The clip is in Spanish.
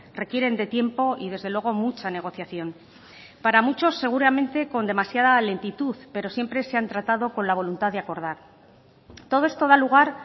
requieren de tiempo y desde luego mucha negociación para muchos seguramente con demasiada lentitud pero siempre se han tratado con la voluntad de acordar todo esto da lugar